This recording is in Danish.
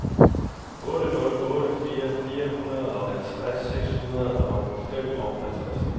otte nul otte fire fireoghalvtreds seks hundrede og femoghalvtreds